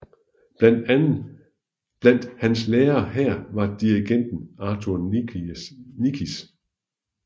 Blandt hans lærere her var dirigenten Arthur Nikisch